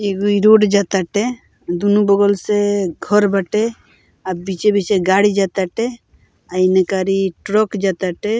एगो ई रोड जा टाटे दुनू बगल से घर बाटे आ बीचे-बीचे गाड़ी जा ताटे और इनकर ई ट्रक जा ताटे।